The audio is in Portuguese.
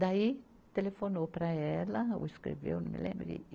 Daí, telefonou para ela, ou escreveu, não me lembro.